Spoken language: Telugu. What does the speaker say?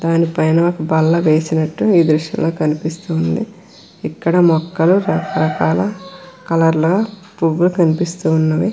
దాని పైన ఒక బల్ల వేసినట్టు ఈ దృశ్యం లో కనిపిస్తుంది ఇక్కడ మొక్కలు రకరకాల కలర్ గ పువ్వు కనిపిస్తు ఉన్నవి.